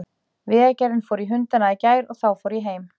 Vegagerðin fór í hundana í gær og þá fór ég heim.